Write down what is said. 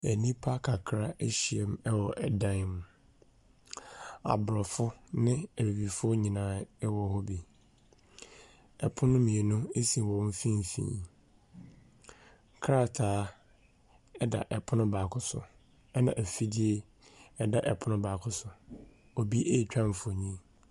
Enipa kakra ehyiamu ɛwɔ ɛdan mu. Aborɔfo ne ebibifo nyinaa ɛwɔ hɔ bi. Ɛpono mienu esi wɔn fimfini. Krataa ɛda ɛpono baako so ɛna efidie ɛda ɛpono baako so. Obi etwa mfonin.